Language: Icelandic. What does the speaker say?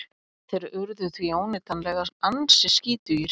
Þeir urðu því óneitanlega ansi skítugir.